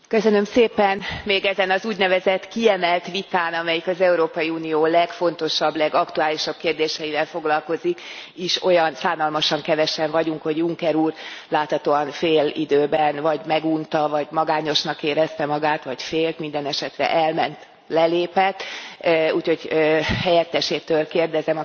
Még ezen az úgynevezett kiemelt vitán, amelyik az Európai Unió legfontosabb, legaktuálisabb kérdéseivel foglalkozik is olyan szánalmasan kevesen vagyunk, hogy Juncker úr láthatóan félidőben vagy megunta, vagy magányosnak érezte magát vagy félt, mindenesetre elment, lelépett, úgyhogy helyettesétől kérdezem a következőt.